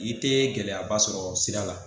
I tɛ gɛlɛyaba sɔrɔ sira la